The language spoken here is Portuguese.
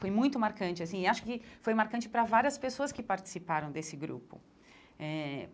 Foi muito marcante, assim, e acho que foi marcante para várias pessoas que participaram desse grupo eh.